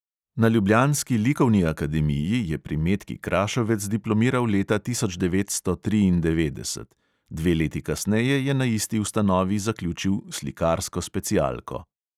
Na ljubljanski likovni akademiji je pri metki krašovec diplomiral leta tisoč devetsto triindevetdeset, dve leti kasneje je na isti ustanovi zaključil slikarsko specialko.